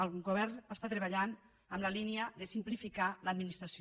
el govern està treballant en la línia de simplificar l’administració